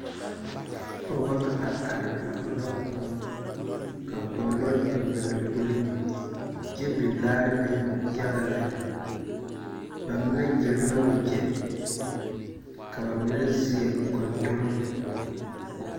Pͻgebͻ la a are a ͻnnͻ kõͻ, ka kõͻ lͻre biŋ ba lomboriŋ kyԑ biŋ laare ne yaga lԑ. ba mine gyere la wagyԑ ka ba mine seԑ gondomo.